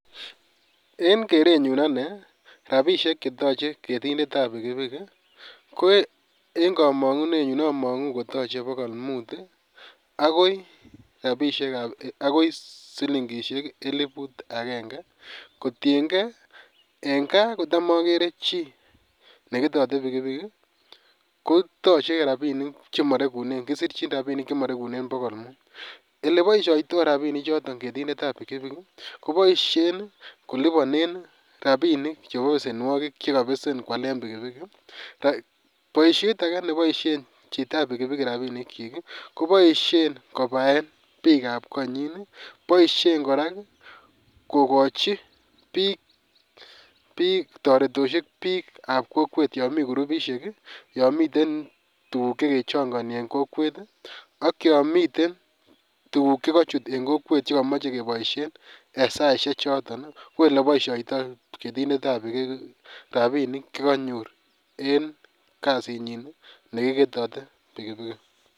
en kerenyuun anee rabishek chetoche ketindetab pikipiki ko een komongunenyuun omonguu kotoche bogool muut iih agoii silingishek elibuut agenge, kotiyengee en kaa kotam ogere chii negetote pikipiki kotoche rabinik chemoregunee kisirchin rabinik chemoreguneen bogool muut, eleboishoitoo rabinik choton ketinde ab pikipiki koboishe koliboneen rabinik chebo besenwogiik chegobesen kolibaneen kwaleen pikipiki, boishet age neboishen chito ab pikipiki rabinik kyiik iih, koboishe kobaeen piik ab konyiin iih koboishen koraa kogochi biik toretoshek piik ab kokweet yoon mii kurubisheek iih yomiten tuguk chegechongoni en kokweet iih ak yomiteen tuguk chegochut en kokweeet chegemoche keboishen en saisiek choton kouu eleboishotoo ketindet ab pikipiki rabinik chegonyoor en kasiit nyiin iih negigetote pikipiki.